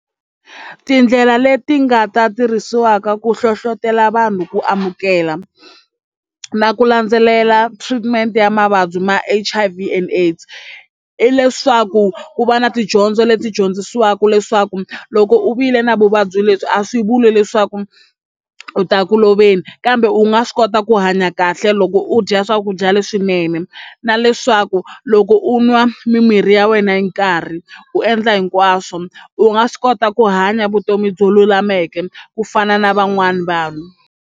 Tindlela leti nga ta tirhisiwaka ku hlohlotelo vanhu ku amukela na ku landzelela treatment ya mavabyi ma H_I_V and AIDS i leswaku ku va na tidyondzo leti dyondzisiwaka leswaku loko u vile na vuvabyi lebyi a swi vuli leswaku u ta ku loveni kambe u nga swi kota ku hanya kahle loko u dya swakudya leswinene na leswaku loko u nwa mimirhi ya wena hi nkarhi u endla hinkwaswo u nga swi kota ku hanya vutomi byo lulameke ku fana na van'wana vanhu.